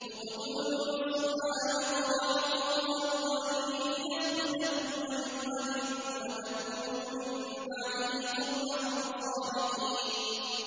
اقْتُلُوا يُوسُفَ أَوِ اطْرَحُوهُ أَرْضًا يَخْلُ لَكُمْ وَجْهُ أَبِيكُمْ وَتَكُونُوا مِن بَعْدِهِ قَوْمًا صَالِحِينَ